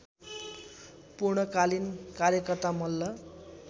पूर्णकालीन कार्यकर्ता मल्ल